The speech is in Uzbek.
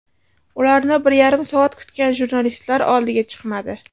Ularni bir yarim soat kutgan jurnalistlar oldiga chiqmadi.